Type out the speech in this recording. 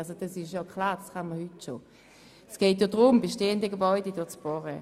Es geht um das Bohren unter bestehenden Gebäuden.